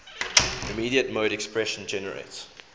immediate mode expression generates